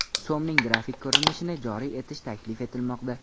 So‘mning grafik ko‘rinishini joriy etish taklif etilmoqda.